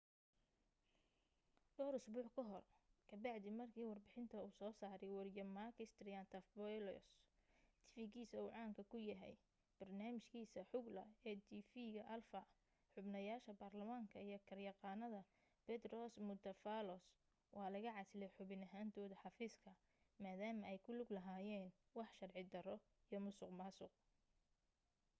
dhowr usbuuc ka hor ka bacdi marki warbixinta uu soo saray wariye makis triantafylopoulos tifigisa uu caan ka ku yahay barnaamij kiisa xougla ee tv ga alpha xubnayasha barlamaanka iyo garyaqanada petros mantouvalos waa laga casiley xubin ahantooda xafiiska madama ay ku lug lahayeen wax sharci daro iyo musuq maasuq